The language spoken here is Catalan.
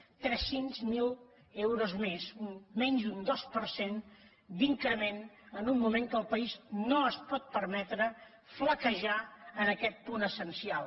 zero tres cents miler euros més menys d’un dos per cent d’increment en un moment que el país no es pot permetre flaquejar en aquest punt essencial